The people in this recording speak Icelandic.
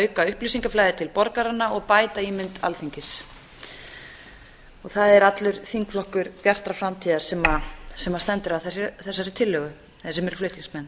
auka upplýsingaflæði til borgaranna og bæta ímynd alþingis það er allur þingflokkur bjartrar framtíðar sem stendur að þessari tillögu eða sem eru flutningsmenn